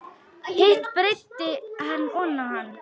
Hitt breiddi hann oná hann.